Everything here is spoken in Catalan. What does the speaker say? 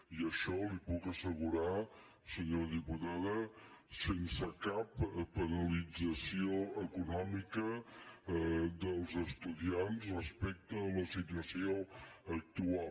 i això li ho puc assegurar senyora diputada sense cap penalització econòmica dels estudiants respecte a la situació actual